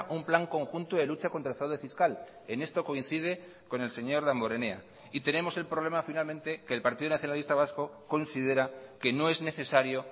un plan conjunto de lucha contra el fraude fiscal en esto coincide con el señor damborenea y tenemos el problema finalmente que el partido nacionalista vasco considera que no es necesario